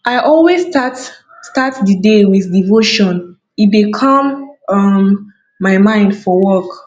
i always start start di day with devotion e dey calm um my mind for work